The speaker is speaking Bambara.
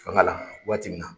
Fanga la waati min.